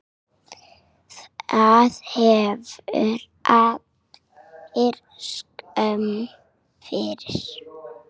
Hafi þeir allir skömm fyrir!